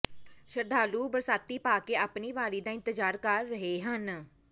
ਸ਼ਰਧਾਲੂ ਬਰਸਾਤੀ ਪਾ ਕੇ ਆਪਣੀ ਵਾਰੀ ਦਾ ਇੰਤਜ਼ਾਰ ਕਰ ਰਹੇ ਹਨ